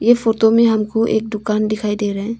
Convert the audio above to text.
ये फोटो में हमको एक दुकान दिखाई दे रहे--